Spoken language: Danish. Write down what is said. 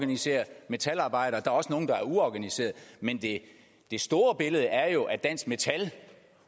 organiserer metalarbejdere og også nogle der er uorganiseret men det store billede er jo at dansk metal